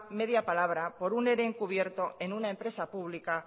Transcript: media palabra por un ere encubierto en una empresa pública